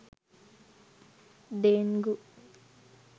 dengue